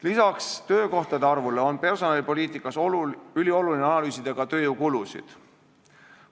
Lisaks töökohtade arvule on personalipoliitikas ülioluline analüüsida ka tööjõukulusid.